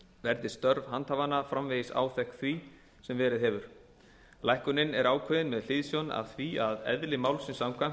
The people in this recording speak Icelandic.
verði störf handhafanna framvegis áþekk því sem verið hefur lækkunin er ákveðin með hliðsjón af því að eðli málsins samkvæmt